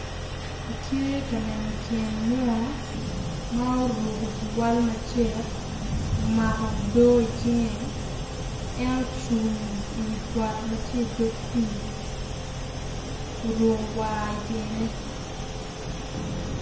Atye ka neno tyen munu ma oruko cuwal macek omako odo i cinge en ocung i wi got ma tye i dog pii orukowa i tyene.